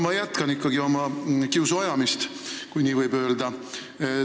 No ma jätkan ikkagi oma kiusu ajamist, kui nii võib öelda.